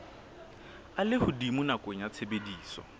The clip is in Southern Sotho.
a lehodimo nakong ya tshebediso